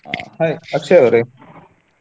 Hai Akshay ಅವರೇ.